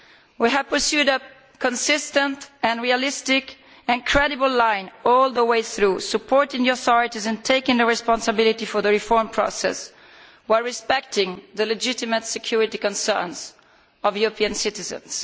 We have pursued a consistent, realistic and credible line all the way through, supporting the authorities and taking the responsibility for the reform process while respecting the legitimate security concerns of European citizens.